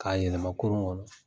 K'a yɛlɛma kurun kɔnɔ.